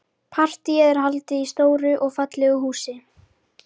Partíið er haldið í stóru og fallegu húsi.